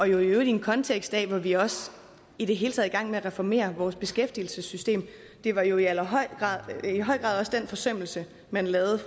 jo i øvrigt i en kontekst hvor vi også i det hele taget gang med at reformere vores beskæftigelsessystem det var jo i høj grad også den forsømmelse man lavede